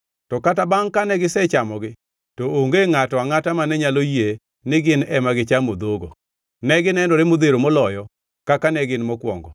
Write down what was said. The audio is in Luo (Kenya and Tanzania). To kata bangʼ kane gisechamogi, to onge ngʼato angʼata mane nyalo yie ni gin ema gichamo dhogo; ne ginenore modhero moloyo kaka ne gin mokwongo. Bangʼe ne achiewo.